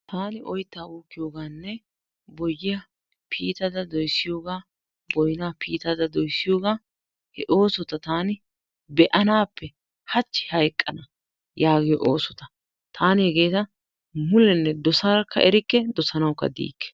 Taani oytaa uukkiyogaanne boyyiya piittada doyssiyogaa boynaa piitada doyssiyogaa he oosota taani be'anaappe hachi hayqqana yaagiyo oosota. Taaani hegeeta mulenne dosadakka erikke dosanawukka diikke.